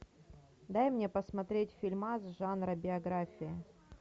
дай мне посмотреть фильма жанра биография